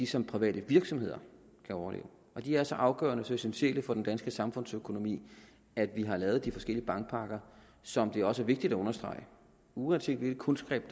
som private virksomheder kan overleve de er så afgørende så essentielle for den danske samfundsøkonomi at vi har lavet de forskellige bankpakker som det også er vigtigt at understrege uanset hvilke kunstgreb af